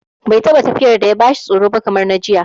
Bai taɓa tafiyar da ya bashi tsoro ba kamar na jiya